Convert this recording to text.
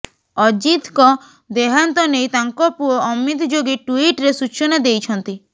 ଅଜିତଙ୍କ ଦେହାନ୍ତ ନେଇ ତାଙ୍କ ପୁଅ ଅମିତ ଯୋଗୀ ଟ୍ୱିଟରେ ସୂଚନା ଦେଇଛନ୍ତି